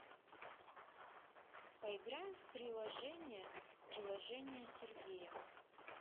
поиграем в приложение приложение сергея